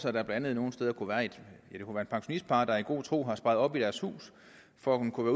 at der nogle steder kunne være et pensionistpar der i god tro havde sparet op i deres hus for at det kunne